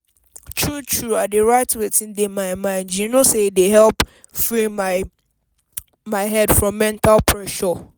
true true i dey write wetin dey my mind you know say e dey help free my head from mental pressure.